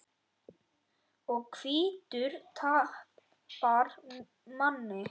Og hvítur tapar manni.